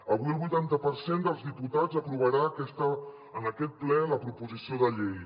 avui el vuitanta per cent dels diputats aprovarà en aquest ple la proposició de llei